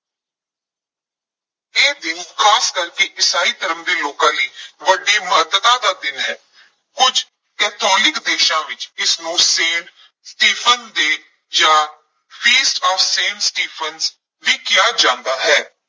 ਇਹ ਦਿਨ ਖਾਸ ਕਰਕੇ ਈਸਾਈ ਧਰਮ ਦੇ ਲੋਕਾਂ ਲਈ ਵੱਡੀ ਮਹੱਤਤਾ ਦਾ ਦਿਨ ਹੈ, ਕੁਝ ਕੈਥੋਲੀਕ ਦੇਸ਼ਾਂ ਵਿੱਚ ਇਸਨੂੰ ਸੇਂਟ ਸਟੀਫਨ day ਜਾਂ ਫੀਸਟ of ਸੇਂਟ ਸਟੀਫਨ ਵੀ ਕਿਹਾ ਜਾਂਦਾ ਹੈ।